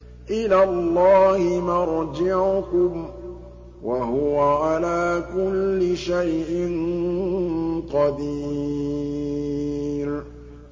إِلَى اللَّهِ مَرْجِعُكُمْ ۖ وَهُوَ عَلَىٰ كُلِّ شَيْءٍ قَدِيرٌ